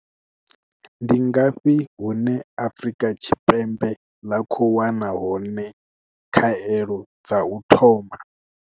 Ndi ngafhi hune Afrika Tshipembe ḽa khou wana hone khaelo dza u thoma?